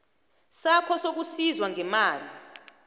sakho sokusizwa ngemali